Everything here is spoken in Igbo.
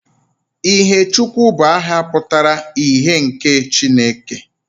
Ihèchukwu bụ aha pụtara ' ihe nke Chineke'